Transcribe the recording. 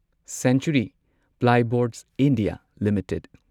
century Plyboards India limited